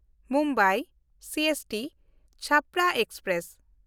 Mumbai ᱥᱤᱮᱥᱴᱤ–ᱪᱷᱟᱯᱨᱟ express